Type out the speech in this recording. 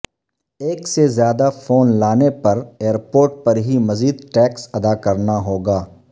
ایک سے زیادہ فون لانے پر ایئرپورٹ پر ہی مزید ٹیکس ادا کرنا ہوگا